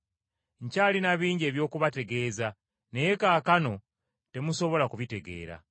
“Nkyalina bingi eby’okubategeeza naye kaakano temusobola kubitegeera.